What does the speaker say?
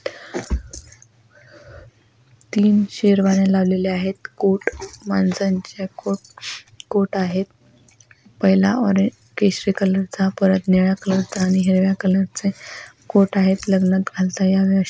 तीन शेरवाण्या लावलेल्या आहेत कोट माणसांच्या कोट कोट आहेत पहिला ऑरेज केसरी कलरचा परत निळ्या कलर चा आणि हिरव्या कलर चे कोट आहेत लग्नात घालता यावे आशे ठेवलेले कोट --